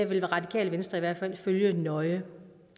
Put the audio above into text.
vil radikale venstre i hvert fald følge nøje